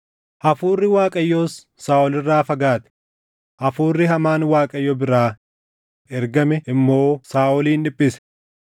Hafuurri Waaqayyoos Saaʼol irraa fagaate; hafuurri hamaan Waaqayyo biraa ergame immoo Saaʼolin dhiphise.